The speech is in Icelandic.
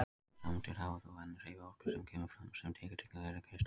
Sameindirnar hafa þó enn hreyfiorku sem kemur fram sem titringur þeirra í kristallinum.